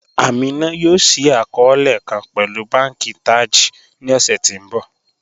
Amina yóò ṣíí akọọlẹ̀ kàn pẹ̀lú bànki Taj ní ọṣẹ̀ tí n bọ